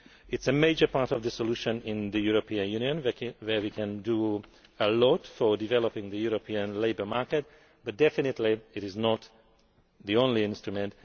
It is a major part of the solution in the European Union, where we can do a lot to develop the European labour market, but definitely it is not the only instrument.